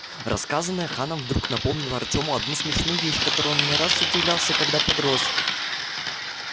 рассказанное ханом вдруг напомнило артёму одну смешную вещь которой он не раз удивлялся когда подрос